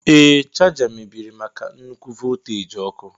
Ee, chaja mebiri maka nnukwu volteji ọkụ.